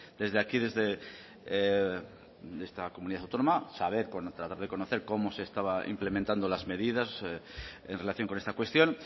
desde aquí desde esta comunidad autónoma saber tratar de conocer cómo se estaban implementando las medidas en relación con esta cuestión